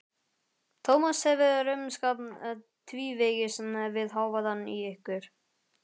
Tómas hefur rumskað tvívegis við hávaðann í ykkur.